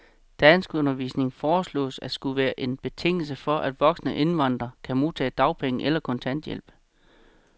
Danskundervisning foreslås at skulle være en betingelse for, at voksne indvandrere kan modtage dagpenge eller kontanthjælp.